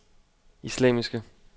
islamiske